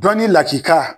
Dɔnni lakika